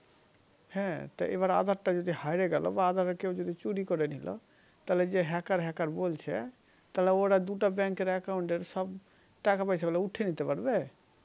হা তা এবার আধার তা যদি হায়রে গেলো বা আধার কেও যদি চুরি করে নিলো তাহলে যে Hacker Hacker বলছে তাহলে ওরা দুটা bank এর সব টাকা পয়সা গুলা উঠিয়ে নিতে পারবে